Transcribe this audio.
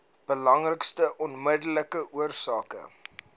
belangrikste onmiddellike oorsake